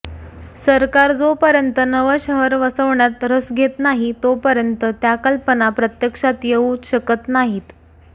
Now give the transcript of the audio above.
सरकार जोपर्यंत नवं शहर वसवण्यात रस घेत नाही तोपर्यंत या कल्पना प्रत्यक्षात येऊच शकत नाहीत